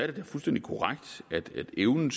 det da fuldstændig korrekt at evnen